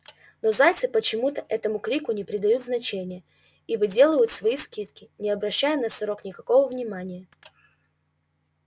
но зайцы почему-то этому крику не придают значения и выделывают свои скидки не обращая на сорок никакого внимания